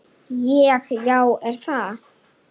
Ég: Já er það?